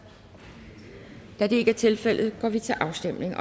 da det ikke er tilfældet går vi til afstemning